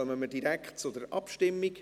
Dann kommen wir direkt zur Abstimmung.